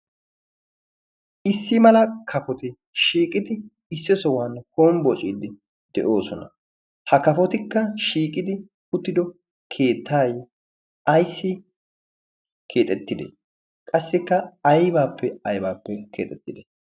Issi mala kafoti shiiqidi issi sohuwan hombbocciidi de'oosona ha kafotikka shiiqqidi uttiddo keettay ayssi keexettidee qassikka aybaappe aybaappe keexettidee?